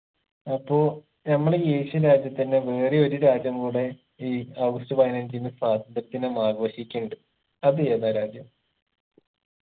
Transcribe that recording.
അപ്പൊ നമ്മളെ ഈ asian രാജ്യത്തന്നെ വേറെ ഒരു രാജ്യം കൂടെ ഈ ഓഗസ്റ്റ് പതിനഞ്ചിന് സ്വാതന്ത്ര്യ ദിനം ആഘോഷിക്കയുണ്ട് അത് ഏതാ രാജ്യം